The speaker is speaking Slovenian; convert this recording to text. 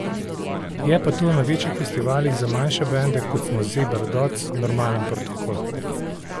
Je pa to na večjih festivalih za manjše bende, kot smo Zebra Dots, normalen protokol.